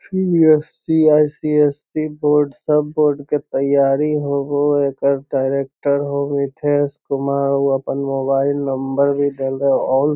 CBSC. ICSC. Board सब board के तैयारी होव हइ | एकर डायरेक्टर हो मिथेश कुमार | उ अपन मोबाइल नंबर भी देलौ | आल --